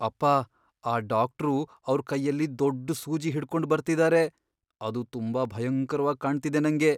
ಅಪ್ಪಾ, ಆ ಡಾಕ್ಟ್ರು ಅವ್ರ್ ಕೈಯಲ್ಲಿ ದೊಡ್ಡು ಸೂಜಿ ಹಿಡ್ಕೊಂಡ್ ಬರ್ತಿದಾರೆ. ಅದು ತುಂಬಾ ಭಯಂಕರ್ವಾಗ್ ಕಾಣ್ತಿದೆ ನಂಗೆ.